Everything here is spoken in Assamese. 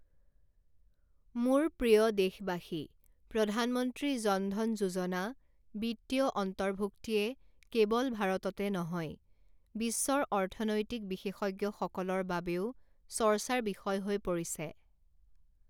মোৰ প্ৰিয় দেশবাসী, প্ৰধানমন্ত্ৰী জনধন যোজনা, বিত্তীয় অন্তৰ্ভূক্তিয়ে কেবল ভাৰততে নহয়, বিশ্বৰ অৰ্থনৈতিক বিশেষজ্ঞসকলৰ বাবেও চৰ্চাৰ বিষয় হৈ পৰিছে।